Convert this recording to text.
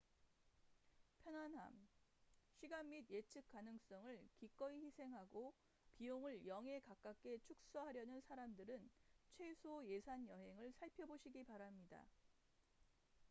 편안함 시간 및 예측 가능성을 기꺼이 희생하고 비용을 0에 가깝게 축소하려는 사람들은 최소 예산 여행을 살펴보시기 바랍니다